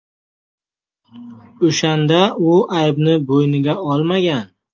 O‘shanda u aybni bo‘yniga olmagan.